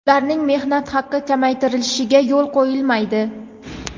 ularning mehnat haqi kamaytirilishiga yo‘l qo‘yilmaydi.